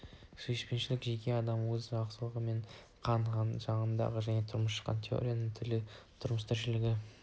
сүйіспеншілігі жеке адам өз халқымен қан жағынан да және шыққан тегі территориясы тілі тұрмыс-тіршілігі